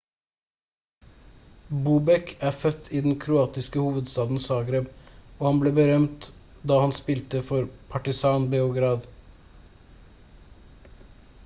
bobek er født i den kroatiske hovedstaden zagreb og han ble berømt da han spilte for partizan beograd